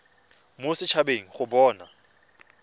mo set habeng go bona